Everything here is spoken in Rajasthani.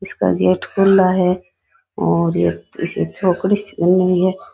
इसका गेट खुला है और एक चौकड़ी सी बनी हुई है।